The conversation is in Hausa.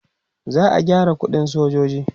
za'a gyara ƙuɗin sojoji